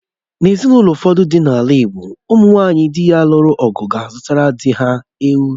N'ezinụlọ ụfọdụ dị n'ala Igbo ụmụ nwunye dị luru ọgụ ga-azuru dị ha ewu